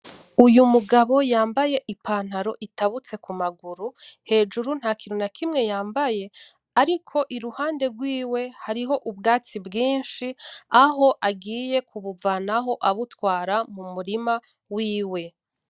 Uyu mugabo yambaye ipantaro itabutse kumaguru , hejuru ntakintu nakimwe yambaye, ariko iruhande rwiwe hariho ubwatsi bwinshi ,aho agiye kubuvanaho abutwara mumurima wiwe.